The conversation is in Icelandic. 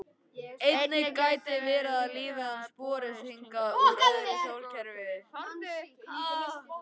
Einnig gæti verið að lífið hafi borist hingað úr öðru sólkerfi.